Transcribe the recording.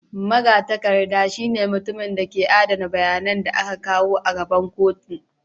Magatakarda shine mutumin da ke adana bayanan da aka kawo gaban kotu.